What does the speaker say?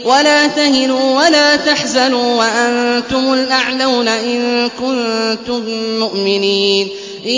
وَلَا تَهِنُوا وَلَا تَحْزَنُوا وَأَنتُمُ الْأَعْلَوْنَ إِن كُنتُم مُّؤْمِنِينَ